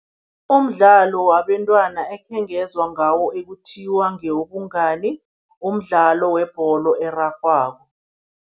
Umdlalo wabentwana ekhengezwa ngawo ekuthiwa ngewobungani, umdlalo webholo erarhwako.